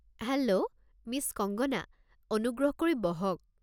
Hello, miss Kangana, অনুগ্ৰহ কৰি বহক।